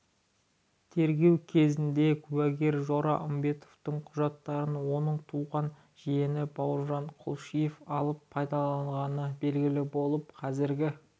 тергеу кезінде куәгер жора үмбетовтің құжаттарын оның туған жиені бауыржан кулишов алып пайдаланғаны белгілі болды қазіргі